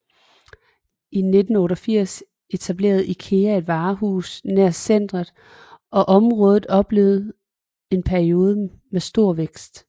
I 1988 etablerede IKEA et varehus nær centret og området oplevede en periode med stor vækst